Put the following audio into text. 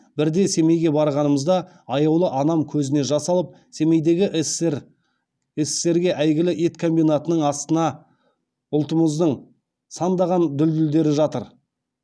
бірде семейге барғанымызда аяулы анам көзіне жас алып семейдегі ссср ге әйгілі ет комбинатының астына ұлтымыздың сандаған дүлдүлдері жатыр